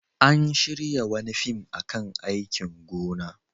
An shirya wani fim a kan aikin gona.